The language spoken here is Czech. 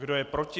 Kdo je proti?